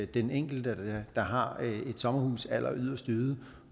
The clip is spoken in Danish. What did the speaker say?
den enkelte der har et sommerhus alleryderst ude